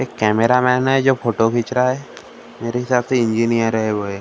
एक कैमरामैन है जो फोटो खींच रहा है मेरे हिसाब से एक इंजीनियर है वो ए --